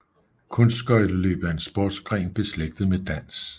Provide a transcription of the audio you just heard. Kunstskøjteløb er en sportsgren beslægtet med dans